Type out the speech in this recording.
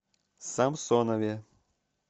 самсонове